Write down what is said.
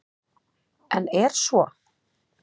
En er svo?